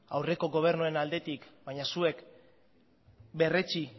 aurreko gobernuaren aldetik baina zuek berretsi